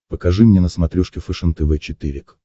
покажи мне на смотрешке фэшен тв четыре к